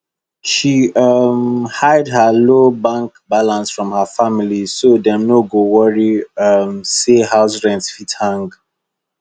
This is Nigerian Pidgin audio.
she um hide her low bank balance from her family so dem no go worry um say house rent fit hang